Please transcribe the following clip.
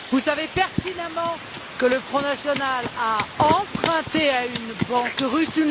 Vous savez pertinemment que le Front national a emprunté à une banque russe.